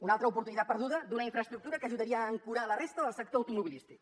una altra oportunitat perduda d’una infraestructura que ajudaria a ancorar la resta del sector automobilístic